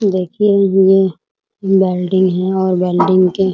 देखिए यह वेल्डिंग है और वेल्डिंग के --